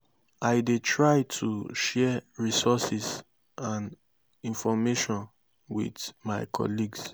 i dey try to share resources and information with my colleagues.